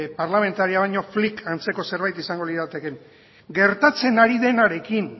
parlamentarioak baino flic antzeko zerbait izango lirateken gertatzen ari denarekin